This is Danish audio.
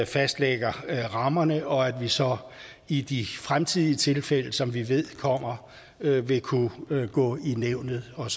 fastlægger rammerne og at vi så i de fremtidige tilfælde som vi ved kommer vil kunne gå i nævnet og